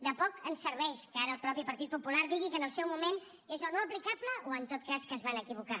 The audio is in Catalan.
de poc ens serveix que ara el mateix partit popular digui que en el seu moment és o no aplicable o en tot cas que es van equivocar